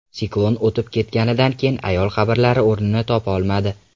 Siklon o‘tib ketganidan keyin ayol qabrlar o‘rnini topolmadi.